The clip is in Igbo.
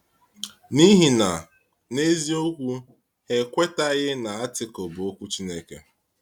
N’ihi na, n’eziokwu, ha ekwetaghị na Àrtíkl bụ Okwu Chineke.